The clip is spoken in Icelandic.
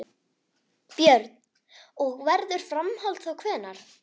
Björn: Og verður framhald þá hvenær?